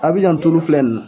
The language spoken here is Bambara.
Abijan tulu filɛ nin.